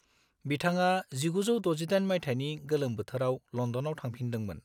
बिथाङा 1968 माइथायनि गोलोम बोथोराव लन्दनाव थंफिनदोंमोन।